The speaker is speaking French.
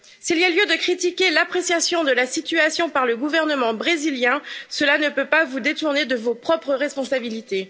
S'il y a lieu de critiquer l'appréciation de la situation par le gouvernement brésilien, cela ne peut pas vous détourner de vos propres responsabilités.